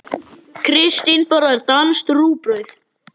Kristín borðar danskt rúgbrauð.